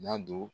N y'a don